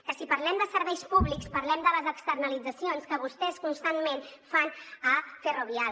que si parlem de serveis públics parlem de les externalitzacions que vostès constantment fan a ferrovial